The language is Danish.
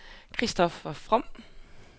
Christoffer From